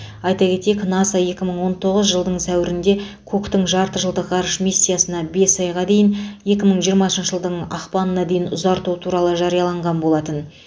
айта кетейік наса екі мың он тоғыз жылдың сәуірінде куктың жарты жылдық ғарыш миссиясына бес айға дейін екі мың жиырмасыншы жылдың ақпанына дейін ұзарту туралы жариялаған болатын